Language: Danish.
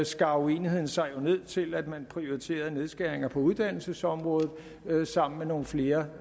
skar uenigheden sig jo ned til at man prioriterede nedskæringer på uddannelsesområdet sammen med nogle flere